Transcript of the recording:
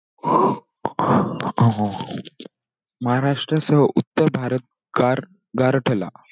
महाराष्ट्रासह उत्तर भारत गार गारठला.